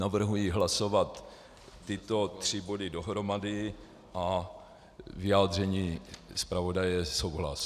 Navrhuji hlasovat tyto tři body dohromady a vyjádření zpravodaje je souhlas.